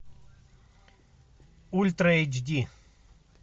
ультра эйч ди